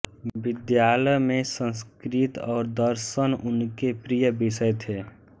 विद्यालय में संस्कृत और दर्शन उनके प्रिय विषय थे